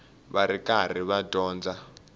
va ri karhi va dyondza